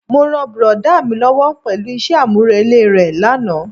Mo ràn brọ̀dá mi lówó pẹ̀lú isẹ́ àmúrelé re lánàá.